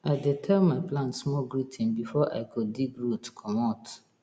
i dey tell my plant small greeting before i go dig root commot